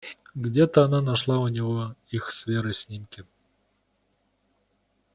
где-то она нашла у него их с верой снимки